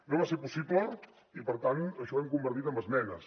no va ser possible i per tant això ho hem convertit en esmenes